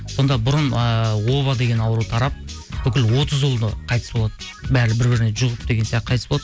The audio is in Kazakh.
сонда бұрын ыыы оба деген ауру тарап бүкіл отыз ұлы да қайтыс болады бәрі бір біріне жұғып деген қайтыс болады